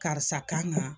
Karisa kan